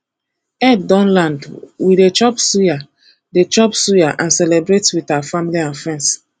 eid don land we dey chop suya dey chop suya and celebrate with our family and friends